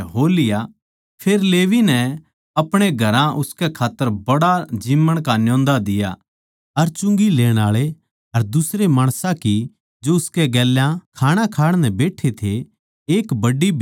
फेर लेवी नै अपणे घरां उसकै खात्तर बड्ड़ा ज़िम्मण का न्योंदा दिया अर चुंगी लेण आळे अर दुसरे माणसां की जो उसकै गेल्या खाणा खाण नै बैट्ठे थे एक बड्डी भीड़ थी